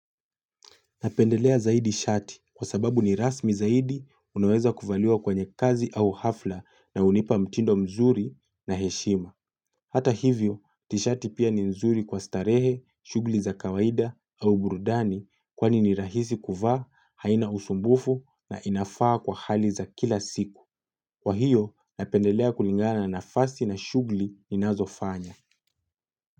Napendelea zaidi shati kwa sababu ni rasmi zaidi unaweza kuvaliwa kwenye kazi au hafla na unipa mtindo mzuri na heshima. Hata hivyo, tishati pia ni nzuri kwa starehe, shugli za kawaida au burudani kwani ni rahisi kuvaa, haina usumbufu na inafaa kwa hali za kila siku. Kwa hiyo, napendelea kulingana na nafasi na shugli ninazofanya.